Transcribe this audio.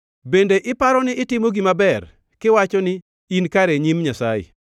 “Bende iparo ni itimo gima ber kiwacho ni, ‘In kare e nyim Nyasaye?’